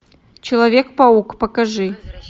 человек паук покажи